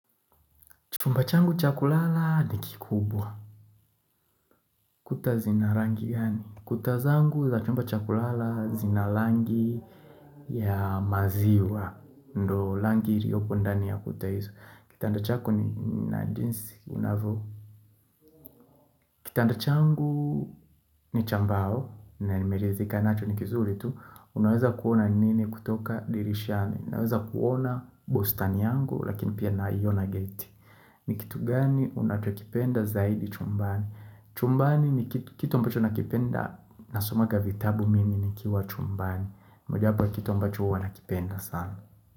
Chumba changu cha kulala ni kikubwa. Kuta zina rangi gani? Kuta zangu za chumba cha kulala zina langi ya maziwa. Ndo langi iliopo ndani ya kuta hizo. Kitanda chako ni na jinsi unavo. Kitanda changu ni cha mbao. Na nimeridhika nacho ni kizuri tu. Unaweza kuona nini kutoka dirishani?. Naweza kuona bustani yangu lakini pia naiona geti. Ni kitu gani unachokipenda zaidi chumbani?. Chumbani ni kitu kitu ambacho nakipenda nasomanga vitabu mimi nikiwa chumbani moja wapo kitu ambacho huwa ninakipenda sana.